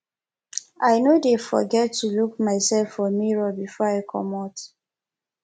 i no dey forget to look mysef for mirror before i comot